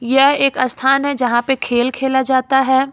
यह एक स्थान है जहां पे खेल खेला जाता है।